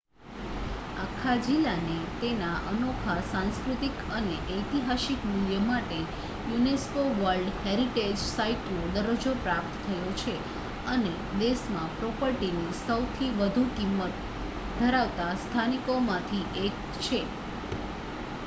આખા જિલ્લાને તેના અનોખા સાંસ્કૃતિક અને ઐતિહાસિક મૂલ્ય માટે યુનેસ્કો વર્લ્ડ હેરિટેજ સાઇટનો દરજ્જો પ્રાપ્ત થયો છે અને દેશમાં પ્રોપર્ટીની સૌથી વધુ કિંમત ધરાવતા સ્થાનોમાંથી એક છે